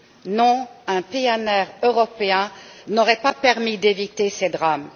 Non, un PNR européen n'aurait pas permis d'éviter ces drames.